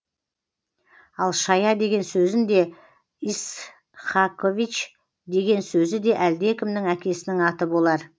ал шая деген сөзін де ицхакович деген сөзі де әлдекімнің әкесінің аты болар